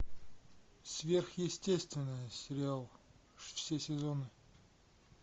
сверхъестественное сериал все сезоны